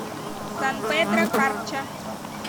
сан педро карча